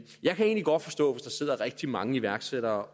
jeg kan egentlig godt forstå hvis der sidder rigtig mange iværksættere